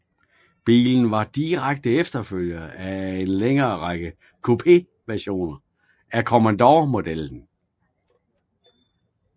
Bilen var en direkte efterfølger til en længere række Coupé versioner af Commodore modellen